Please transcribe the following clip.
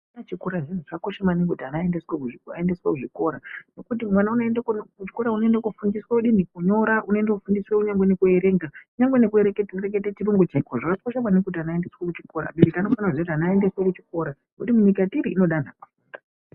Ana achikura zviyani zvakakosha maningi kuti ana aendeswe kuzvikora. Ngekuti mwana unoendeswa kuchikora unondofundiswa kudini? Kunyora. Onondofundiswa kunyangwe nekuerenga, kunyangwe nekureketa chirungu chaiko. Zvakakosha maningi kuti ana aende kuchikora. Abereki anofana kuziya kuti ana aendeswe kuchikora ngekuti nyika yetiri inoda anhu akafunda.